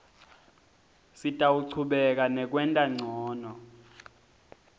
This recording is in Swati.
sitawuchubeka nekwenta ncono